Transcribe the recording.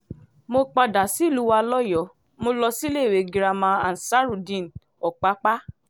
mo padà sílùú wa lọ́yọ́ọ́ mo lọ síléèwé girama ansarudeen opapa